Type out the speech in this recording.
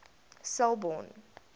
selborne